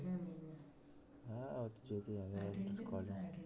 হ্যাঁ ঠিকই আছে কি আর করা যাবে,